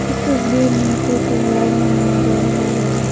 इस तस्वीर में कोई त्यौहार मनाया जा रहा है।